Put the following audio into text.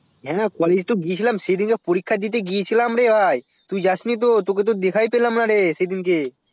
হ্যাঁ college তো গিয়েছিলাম সেদিন তো পরীক্ষা দিতে গিয়েছিলাম রে ভাই তুই যাসনি তো তোকে তো দিখায় পেলাম না রে সেদিনকে